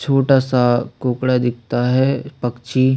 छोटा सा कोकड़ा दीखता है पक्षी--